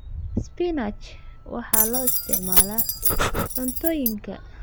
Spinach waxa loo isticmaalaa cuntooyinka.